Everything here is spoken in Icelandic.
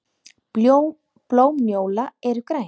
Blóm njóla eru græn.